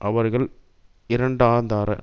அவர்களை இரண்டாந்தார